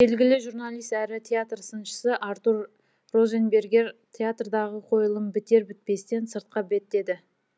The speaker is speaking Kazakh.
белгілі журналист әрі театр сыншысы артур розенбергер театрдағы қойылым бітер бітпестен сыртқа беттеді